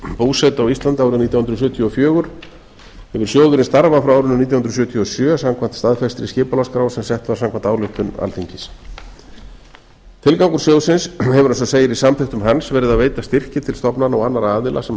búsetu á íslandi árið nítján hundruð sjötíu og fjögur hefur sjóðurinn starfað frá árinu nítján hundruð sjötíu og sjö samkvæmt staðfestri skipulagsskrá sem sett var samkvæmt ályktun alþingis tilgangur sjóðsins hefur eins og segir í samþykktum hans verið að veita styrki til stofnana og annarra aðila sem